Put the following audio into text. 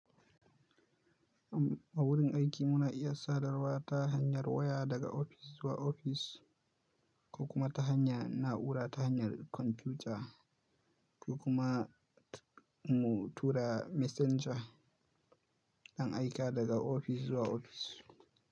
A wurin aiki muna iya sadarwa ta hanyar waya daga ofis zuwa ofis, ko kuma ta hanyar na'ura ta hanyar kwamfuta, ko kuma mu tura messenger ɗan aika daga ofis zuwa ofis.